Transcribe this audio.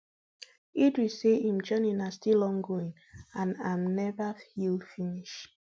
idris say im journey na still ongoing and am never heal finish